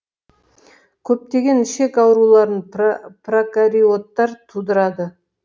көптеген ішек ауруларын прокариоттар тудырады